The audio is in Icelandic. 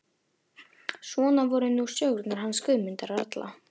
Svona voru nú sögurnar hans Guðmundar ralla.